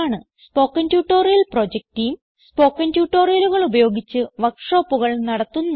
spoken tutorial project team spoken ട്യൂട്ടോറിയലുകൾ ഉപയോഗിച്ച് വർക്ക് ഷോപ്പുകൾ നടത്തുന്നു